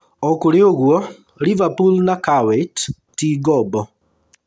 Ona kũrĩ ũguo, Liverpool na Krawietz ti ngombo